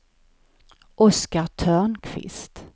Oscar Törnqvist